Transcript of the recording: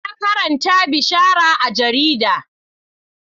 Na karanta bishara a jarida.